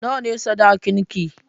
Nawa ne sadakin ki?